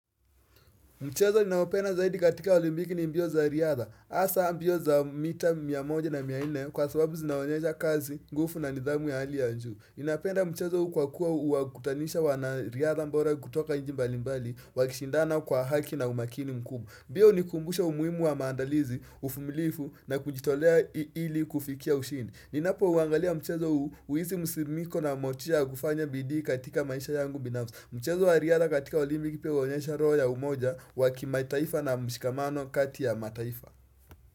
Mchezo ninawapenda zaidi katika olimpiki ni mbio za riadha. Asa mbio za mita mia moja na mia nne kwa sababu zinaonyesha kazi, ngufu na nidhamu ya hali ya njuu. Ninapenda mchezo kwa kuwa huwa kutanisha wanariadha mbora kutoka nchi mbali mbali, wakishindana kwa haki na umakini mkubwa. Bia hunikumbusha umuhimu wa maandalizi, ufumilifu na kujitolea ili ili kufikia ushindi. Ninapo uangalia mchezo huu huhisi musimiko na motisha kufanya bidii katika maisha yangu binafsi. Mchezo wa riadha katika olimpiki pia huonyesha roho ya umoja waki mataifa na mshikamano kati ya mataifa.